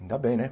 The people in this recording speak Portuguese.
Ainda bem, né?